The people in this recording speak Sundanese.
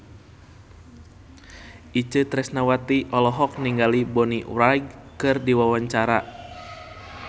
Itje Tresnawati olohok ningali Bonnie Wright keur diwawancara